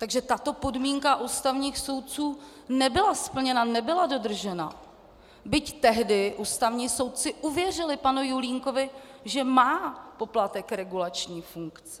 Takže tato podmínka ústavních soudců nebyla splněna, nebyla dodržena, byť tehdy ústavní soudci uvěřili panu Julínkovi, že má poplatek regulační funkci.